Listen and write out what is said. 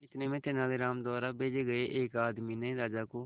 इतने में तेनालीराम द्वारा भेजे गए एक आदमी ने राजा को